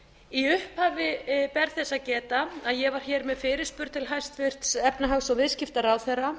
í upphafi ber þess að geta að ég var með fyrirspurn til hæstvirtrar efnahags og viðskiptaráðherra